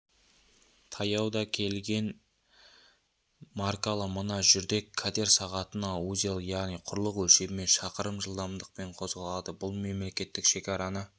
таяуда келген маркалы мына жүрдек катер сағатына узел яғни құрлық өлшемімен шақырым жылдамдықпен қозғалады бұлмемлекеттік шекараны